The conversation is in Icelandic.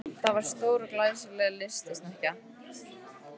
Það var stór og glæsileg lystisnekkja.